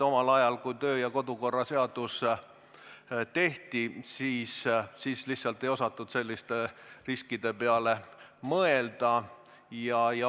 Omal ajal, kui kodu- ja töökorra seadus tehti, küllap lihtsalt ei osatud selliste riskide peale mõelda.